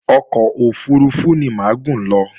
Ọkọ̀ òfurufú ni mà á gùn lọ